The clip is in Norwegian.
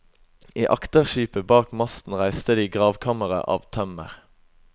I akterskipet bak masten reiste de gravkammeret av tømmer.